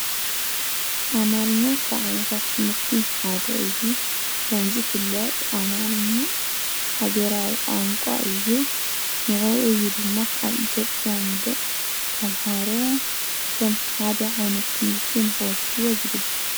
አማርኛ ካብ ዓይነታት ትምህርቲ ሓደ እዩ። ከም ዝፍለጥ አማርኛ ሃገራዊ ቋንቋ እዩ። ንዕዑ እዩ ድማ አብ ኢትዮጵያ ሙሉእ ተምሃሮ ከም ሓደ ዓይነት ትምህርቲ ንክወስዱዎ ዝግበር።